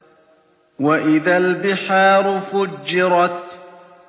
وَإِذَا الْبِحَارُ فُجِّرَتْ